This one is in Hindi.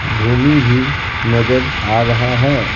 भूमि भी नजर आ रहा है।